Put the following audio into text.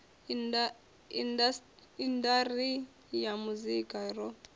indas ri ya muzika ro